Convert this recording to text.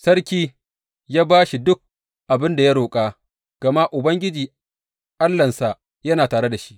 Sarki ya ba shi duk abin da ya roƙa, gama Ubangiji Allahnsa yana tare da shi.